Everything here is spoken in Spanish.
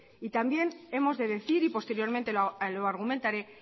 y también hemos de decir y posteriormente lo argumentaré